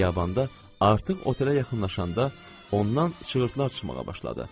Xiyabanda artıq otelə yaxınlaşanda ondan çığırtılar çıxmağa başladı.